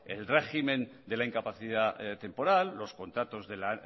el régimen de la incapacidad temporal los contratos